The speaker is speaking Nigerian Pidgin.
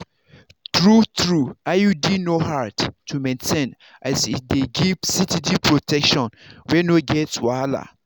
true-true iud no hard to maintain as e dey give steady protection wey no get wahala.